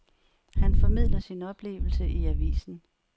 Han formidler sin oplevelse i avisen.